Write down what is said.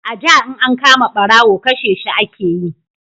a da in an kama barawo kashe shi ake yi